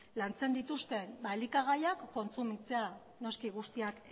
lantzen dituzten elikagaiak kontsumitzea noski guztiak